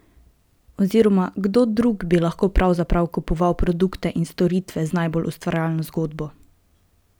Oziroma kdo drug bi lahko pravzaprav kupoval produkte in storitve z najbolj ustvarjalno zgodbo?